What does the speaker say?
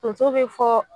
Tonso be fɔ